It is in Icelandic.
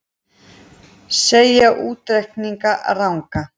Segja útreikninga ranga